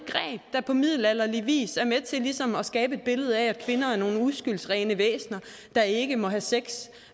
der på middelalderlig vis er med til ligesom at skabe et billede af at kvinder er nogle uskyldsrene væsener der ikke må have sex